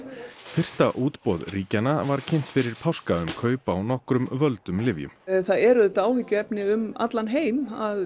fyrsta útboð ríkjanna var kynnt fyrir páska um kaup á nokkrum völdum lyfjum það eru auðvitað áhyggjur um allan heim að